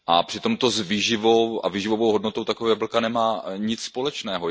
Přitom to s výživou a s výživovou hodnotou takového jablka nemá nic společného.